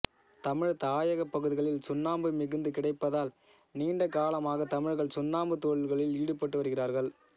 தமிழர் தாயகப் பகுதிகளில் சுண்ணாம்பு மிகுந்து கிடைப்பதால் நீண்டகாலமாக தமிழர்கள் சுண்ணாம்புத் தொழிலில்களில் ஈடுபட்டு வருகிறார்கள்